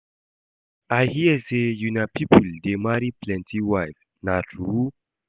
I hear say una people dey marry plenty wife, na true?